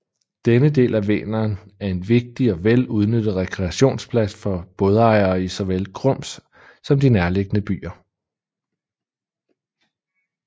Denne del af Vänern er en vigtig og vel udnyttet rekreationsplads for bådejere i såvel Grums som de nærliggende byer